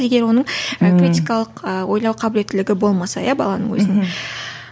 егер оның арифметикалық ы ойлау қабілетілігі болмаса иә баланың өзінің мхм